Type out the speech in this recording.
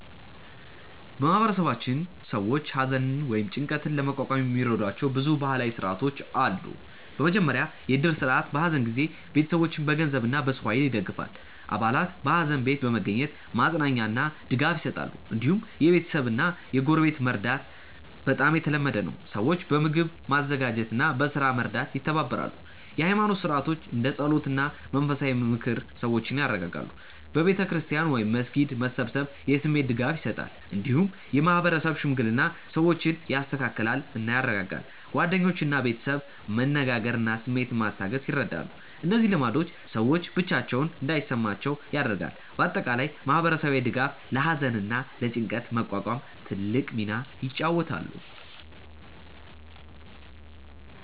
በማህበረሰባችን ሰዎች ሐዘንን ወይም ጭንቀትን ለመቋቋም የሚረዷቸው ብዙ ባህላዊ ሥርዓቶች አሉ። በመጀመሪያ የእድር ስርዓት በሐዘን ጊዜ ቤተሰቦችን በገንዘብ እና በሰው ኃይል ይደግፋል። አባላት በሐዘን ቤት በመገኘት ማጽናኛ እና ድጋፍ ይሰጣሉ። እንዲሁም የቤተሰብ እና የጎረቤት መርዳት በጣም የተለመደ ነው። ሰዎች በምግብ ማዘጋጀት እና በስራ መርዳት ይተባበራሉ። የኃይማኖት ሥርዓቶች እንደ ጸሎት እና የመንፈሳዊ ምክር ሰዎችን ያረጋጋሉ። በቤተ ክርስቲያን ወይም መስጊድ መሰብሰብ የስሜት ድጋፍ ይሰጣል። እንዲሁም የማህበረሰብ ሽምግልና ሰዎችን ያስተካክላል እና ያረጋጋል። ጓደኞች እና ቤተሰብ መነጋገር ስሜትን ማስታገስ ይረዳሉ። እነዚህ ልማዶች ሰዎች ብቻቸውን እንዳይሰማቸው ያደርጋሉ። በአጠቃላይ ማህበረሰባዊ ድጋፍ ለሐዘን እና ለጭንቀት መቋቋም ትልቅ ሚና ይጫወታል።